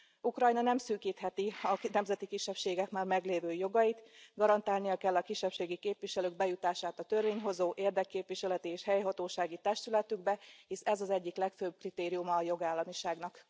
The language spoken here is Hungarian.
Ukrajna nem szűkítheti a nemzeti kisebbségek már meglévő jogait, garantálnia kell a kisebbségi képviselők bejutását a törvényhozó, érdekképviseleti és helyhatósági testületükbe, hisz ez az egyik legfőbb kritériuma a jogállamiságnak.